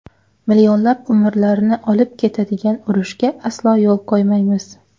Millionlab umrlarni olib ketadigan urushga aslo yo‘l qo‘ymaymiz.